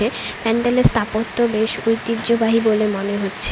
বেশ প্যান্ডেল এর স্থাপত্য বেশ ঐতিহ্যবাহী বলে মনে হচ্ছে।